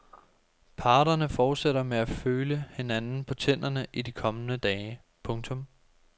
Parterne fortsætter med at føle hinanden på tænderne i de kommende dage. punktum